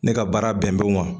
Ne ka baara bɛn bɛn o ma